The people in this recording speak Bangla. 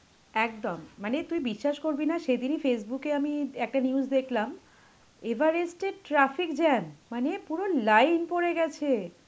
একদম. মানে তুই বিশ্বাস করবি না সেদিনই Facebook এ আমি একটা news দেখলাম. এভারেস্টে traffic jam. মানে পুরো লাইন পড়ে গেছে,